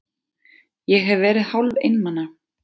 Ég hef verið hálfeinmana.